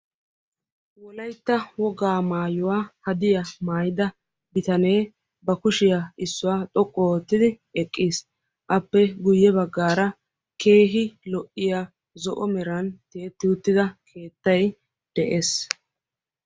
Wolaytta wogaay maayuwaa hadiyaa maayidaa bitanee ba kushiyan issuwaa xoqqu oottidi eqqiis. Appe guye baggaara de'iyaa keehin zo'o meran tiyetti uttida keettay de'ees.